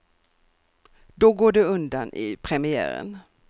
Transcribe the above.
Då går det undan i premiären.